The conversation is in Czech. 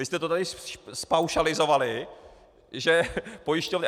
Vy jste to tady zpaušalizovali, že pojišťovny...